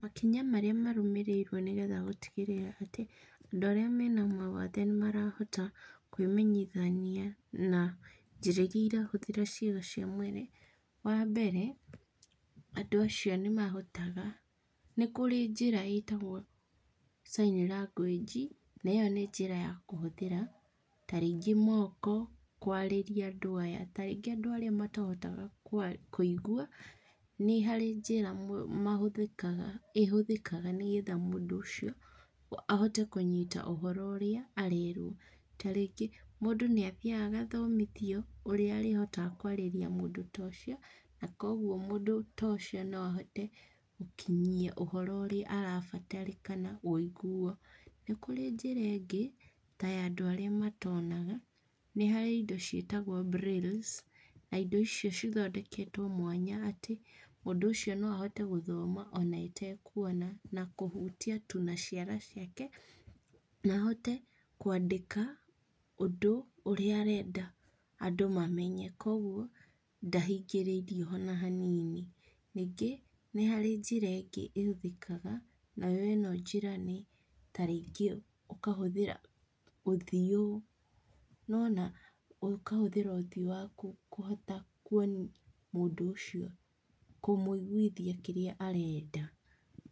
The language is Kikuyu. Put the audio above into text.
Makinya marĩa marũmĩrĩirwo nĩgetha gũtigĩrĩra atĩ andũ arĩa marĩ na mawathe nĩmarahota kwĩmenyithania na njĩra iria irahũthĩra ciĩga cia mwĩrĩ, wa mbere andũ acio nĩmahotaga, nĩkũrĩ njĩra ĩtagwo sign language na ĩyo nĩ njĩra ya kũhũthĩra tarĩngĩ moko kwarĩria andũ aya tarĩngĩ andũ arĩa matahotaga kwari kũigua, nĩ harĩ njĩra mũ mahũthĩkaga ĩhũthĩkaga nĩgetha mũndũ ũcio ahote kũnyita ũhoro ũrĩa arerwo, tarĩngĩ mũndũ nĩathiĩaga agathomithio ũrĩa arĩhotaga kwarĩrĩa mũndũ ta ũcio, na koguo mũndũ ta ũcio no ahote gũkinyia ũhoro ũrĩa arabatarĩkana wĩiguo. Nĩkũrĩ njĩra ingĩ, ta ya andũ arĩa matonaga, nĩharĩ indo ciĩtagwo brailles na indo icio cithondeketwo mwanya atĩ, mũndũ ũcio no ahote gũthoma ona atekuona, na kũhutia tu naciara ciake, na ahote kwandĩka, ũndũ ũrĩa arenda andũ mamenye. Koguo, ndahingĩrĩirio ona hanini. Ningĩ nĩharĩ njĩra ingĩ ĩhũthĩkaga, nayo ĩno njĩra nĩ tarĩngĩ ũkahũthĩra ũthiũ no ona ũkahũthĩra ũthiũ waku kũhota kuona mũndũ ũcio kũmuĩgũithia kĩrĩa arenda.